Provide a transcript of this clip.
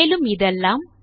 மேலும் இதெல்லாம்